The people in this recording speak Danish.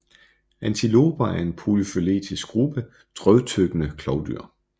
Antiloper er en polyfyletisk gruppe drøvtyggende klovdyr